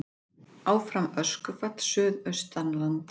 Áfram öskufall suðaustanlands